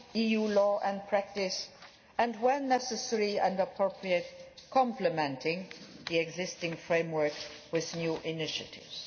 EU law and practice and, when necessary and appropriate, complementing the existing framework with new initiatives.